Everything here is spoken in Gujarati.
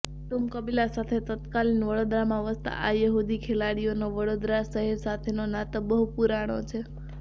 કુટુંબકબીલા સાથે તત્કાલીન વડોદરામાં વસતા આ યહૂદી ખેલાડીઓનો વડોદરા શહેર સાથેનો નાતો બહુ પૂરાણો છે